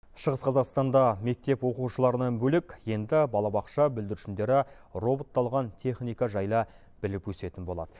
шығыс қазақстанда мектеп оқушыларынан бөлек енді балабақша бүлдіршіндері роботталған техника жайлы біліп өсетін болады